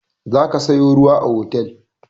Za ka sayo ruwa a otel!